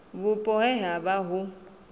vhupo he ha vha hu